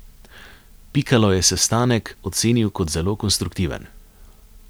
Pikalo je sestanek ocenil kot zelo konstruktiven.